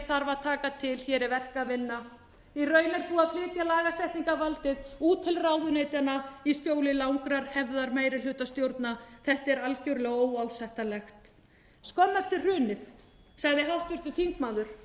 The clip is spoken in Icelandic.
þarf að taka til hér er verk að vinna í raun er búið að flytja lagasetningarvaldið út til ráðuneytanna í skjóli langrar hefðar meirihlutastjórna þetta er algjörlega óásættanlegt skömmu eftir hrunið sagði háttvirtur þingmaður